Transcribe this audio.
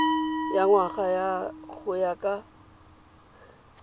ya ngwana go ya ka